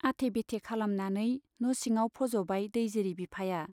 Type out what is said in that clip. आथे बेथे खालामनानै न' सिङाव फज'बाय दैजिरि बिफाया।